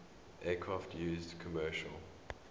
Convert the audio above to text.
aircraft used commercial